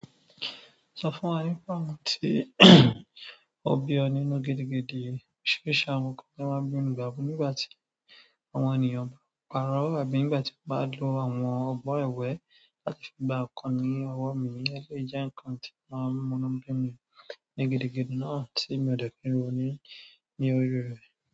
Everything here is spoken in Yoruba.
Sọ fún wa nípa ìmọ̀ tí ó bí ọ nínú gidigidi oríṣìíríṣìí àwọn nǹkan tí wọ́n máa ń bí òun gbà bo nígbà tí àwọn ènìyàn bá ń pa irọ àbí nígbà tí wọ́n bá ń lo àwọn ọgbọ́n ẹwẹ̀ láti fi gba nkan ní ọwọ́ mi eley dẹ̀ jẹ ǹkan tí o maa mú ínú bi mi ní gidigidi náà tí mi ò dẹ̀ kúrò nínú ní orí rẹ̀.